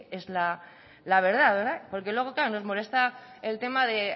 la verdad porque luego claro nos molesta el tema de